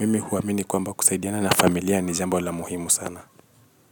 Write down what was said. Mimi huamini kwamba kusaidiana na familia ni jambo la muhimu sana.